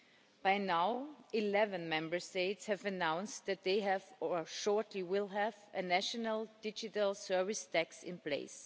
Until now, 11 Member States have announced that they have, or shortly will have, a national digital service tax in place.